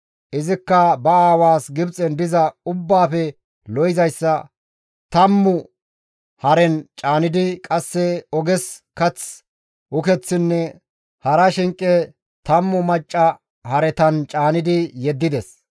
Izikka ba aawaas Gibxen diza ubbaafe lo7izayssa tammu haren caanidi, qasse oges kath, ukeththinne hara shinqe tammu macca haretan caanidi yeddides.